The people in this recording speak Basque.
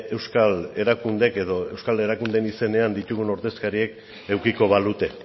euskal erakundeek edo euskal erakundeen izenean ditugun ordezkariek edukiko balute